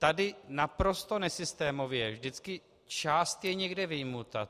Tady naprosto nesystémově vždycky část je někde vyjmuta.